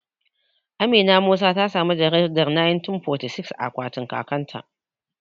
Amina Musa ta samu jaridar 1946 a akwatin kakan ta